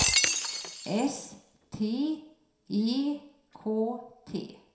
S T E K T